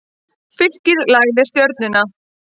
Fylkir lagði Stjörnuna